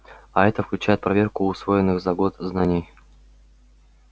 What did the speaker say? а это включает проверку усвоенных за год знаний